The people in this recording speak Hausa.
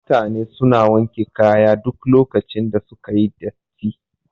Mutane suna wanke kaya duk lokacin da suka yi datti